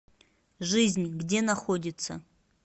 жизнь где находится